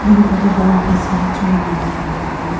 ding kho to dongai pe siri chu wai nganle taile ema.